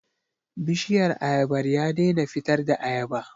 Bishiyar ayabar ya daina fitar da ayaba.